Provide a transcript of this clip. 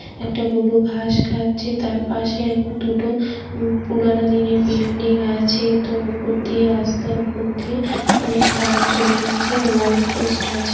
একটা গরু ঘাস খাচ্ছে তার পাশে দুটো পুরানো দিনের বিল্ডিং আছে তো উপর দিয়ে রাস্তার উপর দিয়ে অনেক তার চলে গেছে ও লাইট পোস্ট আছে।